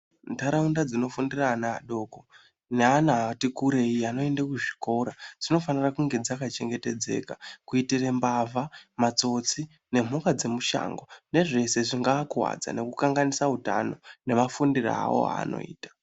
Mundaraunda dzinofundira vana vadoko neana ati kurei anoende kuzvikora dzinofanira kunge dzaka chengetedzeka kuitirwa mbavha matsotsi nemhuka dzemushango nezveshe zvingava kuwadza nekukanganisa hutano nemafundiro awoo awanoita.